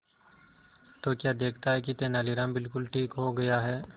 तो क्या देखता है कि तेनालीराम बिल्कुल ठीक हो गया है